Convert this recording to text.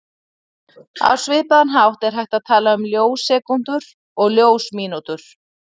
Á svipaðan hátt er hægt að tala um ljós-sekúndur og ljós-mínútur.